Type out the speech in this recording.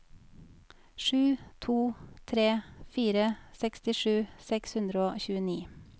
sju to tre fire sekstisju seks hundre og tjueni